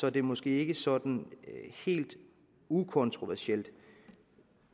er det måske ikke sådan helt ukontroversielt